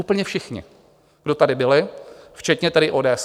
Úplně všichni, kdo tady byli, včetně tedy ODS.